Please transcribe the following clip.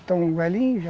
Estão velhinhos já.